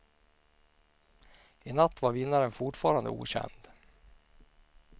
I natt var vinnaren fortfarande okänd.